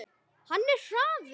Hann er hraður.